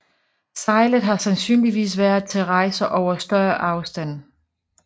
Sejlet har sandsynligvis været til rejser over større afstande